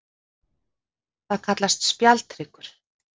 Það kallast spjaldhryggur.